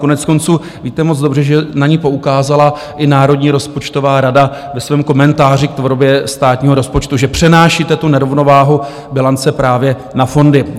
Koneckonců, víte moc dobře, že na ni poukázala i Národní rozpočtová rada ve svém komentáři k tvorbě státního rozpočtu, že přenášíte tu nerovnováhu bilance právě na fondy.